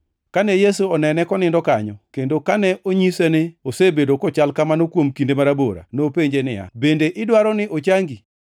Kane Yesu onene konindo kanyo, kendo kane onyise ni osebedo kochal kamano kuom kinde marabora, nopenje niya, “Bende idwaro ni ochangi?”